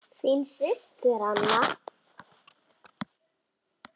Þín systir Anna.